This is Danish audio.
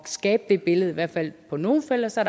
skabe det billede i hvert fald på nogle felter så